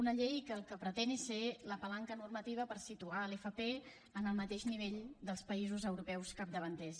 una llei que el que pretén és ser la palanca normativa per situar l’fp en el mateix nivell dels països europeus capdavanters